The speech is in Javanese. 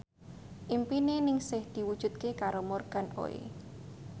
impine Ningsih diwujudke karo Morgan Oey